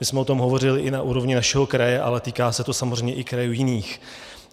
My jsme o tom hovořili i na úrovni našeho kraje, ale týká se to samozřejmě i krajů jiných.